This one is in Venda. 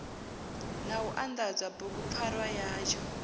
na u anḓadza bugupfarwa yatsho